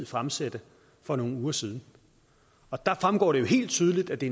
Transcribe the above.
fremsatte for nogle uger siden og der fremgår det jo helt tydeligt at det